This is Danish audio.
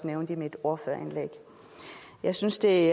nævnte i mit ordførerindlæg jeg synes det